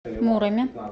муроме